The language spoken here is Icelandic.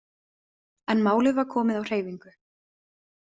En málið var komið á hreyfingu.